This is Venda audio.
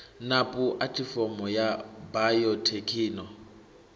na pu athifomo ya bayothekhino